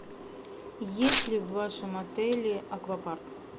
есть ли в вашем отеле аквапарк